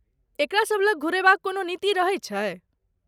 एकरा सब लग घुरयबाक कोनो नीति रहैत छै?